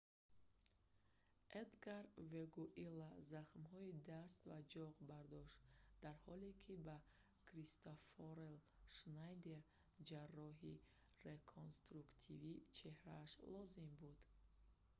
эдгар вегуила захмҳои даст ва ҷоғ бардошт дар ҳоле ки ба кристоффер шнайдер ҷарроҳии реконструктивии чеҳрааш лозим буд